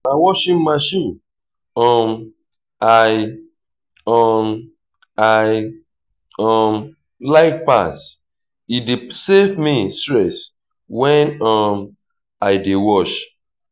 na washing machine um i um i um like pass e dey save me stress when um i dey wash.